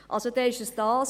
Also, dann ist es dies.